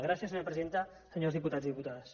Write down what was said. gràcies senyora presidenta senyors diputats i diputades